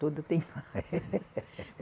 Tudo tem